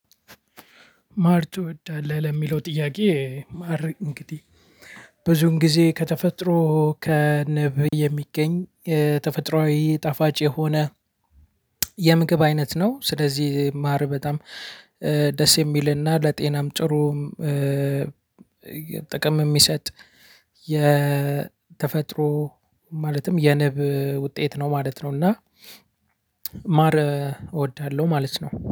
ማር ትወዳለህ ለሚለው ጥያቄ? ማር እንግዲህ ብዙን ጊዜ ከተፈጥሮ ከንብ የሚገኝ ተፈጥሮአዊ ጣፋጭ የሆነ። የምግብ አይነት ነው ስለዚህ ማር በጣም ደስ የሚልና ለጤናም ጥሩም። ጥቅም የሚሰጥ የተፈጥሮ ማለትም የንብ ውጤት ነው ማለት ነው። እና ማር እወዳለሁ ማለት ነው